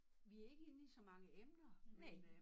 Vi ikke inde i så mange emner men øh